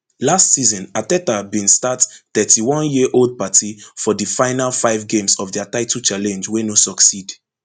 last season arteta bin start thirty-oneyearold partey for di final five games of dia title challenge wey no succeed